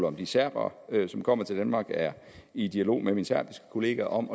om de serbere som kommer til danmark er i dialog med min serbiske kollega om